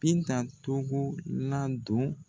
Binta togo ladon.